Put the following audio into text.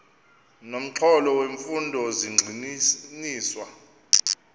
nomxholo wemfundo zigxininiswa